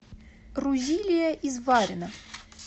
рузилия изварина